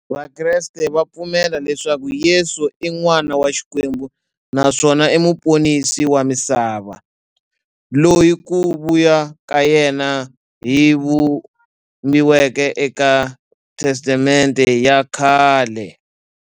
Vakreste va pfumela leswaku Yesu i n'wana wa Xikwembu naswona i muponisi wa misava, loyi ku vuya ka yena ku vhumbiweke e ka Testamente ya khale.